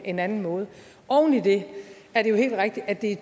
en anden måde oven i det er det jo helt rigtigt at det